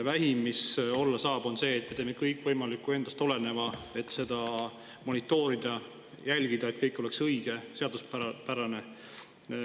Vähim, mis olla saab, on see, et me teeme kõik endast oleneva, et seda monitoorida, jälgida, et kõik oleks õige ja seaduspärane.